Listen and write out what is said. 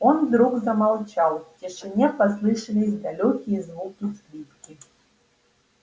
он вдруг замолчал в тишине послышались далёкие звуки скрипки